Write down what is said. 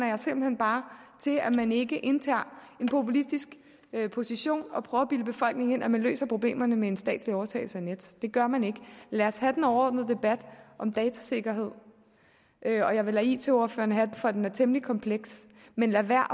jeg simpelt hen bare til at man ikke indtager en populistisk position og prøver at bilde befolkningen ind at man løser problemerne med en statslig overtagelse af nets det gør man ikke lad os have den overordnede debat om datasikkerhed og jeg vil lade it ordførerne have den for den er temmelig kompleks men lad være